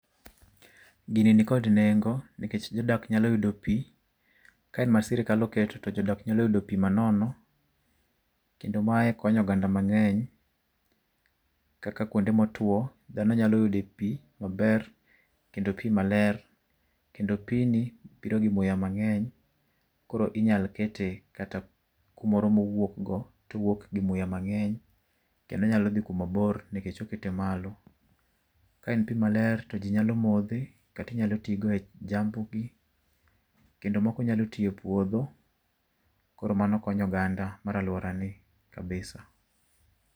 Gini nikod nengo nikech jodak nyalo yudo pi. Ka en ma sirkal oketo to jodak nyalo yudo pi manono kendo mae konyo oganda mang'eny. Kaka kuonde motwo dhano nyalo yude pi maber kendo pi maler kendo pigni biro gi muya mang'eny. Koro inyalo kete kata kumoro ma owuok go, owuok gi muya kendo onyalo dhi kuma bor nikech okete malo. Ka en pi maler to ji nyalo modhe kata inyalo tigo e jambugi kendo moko nyalo tiyo e puodho. Koro mano konyo oganda mar alorani [cs6 kabisa.